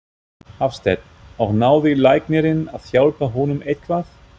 Hafsteinn: Og náði læknirinn að hjálpa honum eitthvað?